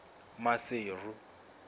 maseru